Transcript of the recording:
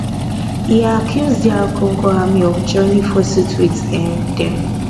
e accuse dr congo army of joining forces wit um dem